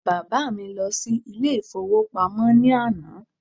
Bàbá mi lọ sí ilé ìfowópamọ́ ní àná